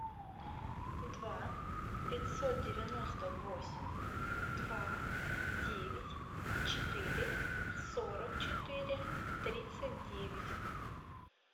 два пятьсот девяносто восемь два девять четыре сорок четыре тридцать девять